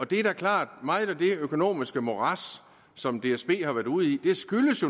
det er da klart at meget af det økonomiske morads som dsb har været ude i